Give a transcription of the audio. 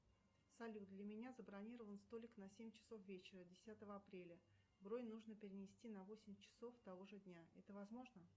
салют для меня забронирован столик на семь часов вечера десятого апреля бронь нужно перенести на восемь часов того же дня это возможно